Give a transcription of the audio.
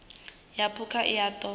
ya phukha i a ṱo